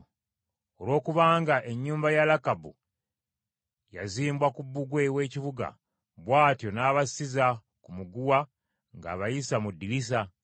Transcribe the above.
Olw’okubanga ennyumba ya Lakabu yazimbwa ku bbugwe w’ekibuga, bw’atyo n’abasizza ku muguwa ng’abayisa mu ddirisa.